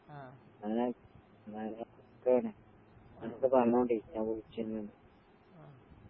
ആഹ് ആഹ്.